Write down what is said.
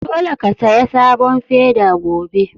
Dole ka saya sabon feda gobe!